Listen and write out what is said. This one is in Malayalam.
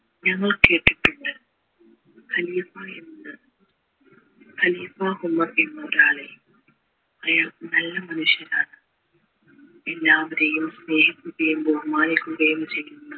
ഞങ്ങൾ കേട്ടിട്ടുണ്ട് ഖലീഫ എന്ന ഖലീഫ ഉമർ എന്ന ഒരാളെ അയാൾ നല്ല മനുഷ്യനാണ് എല്ലാവരെയും സ്നേഹിക്കുകയും ബഹുമാനിക്കുകയും ചെയുന്ന